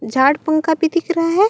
झाड़ पंखा भी दिख रहा है।